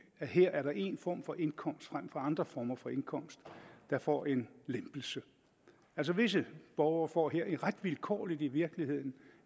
her er der en form for indkomst frem for andre former for indkomst der får en lempelse altså visse borgere får her ret vilkårligt i virkeligheden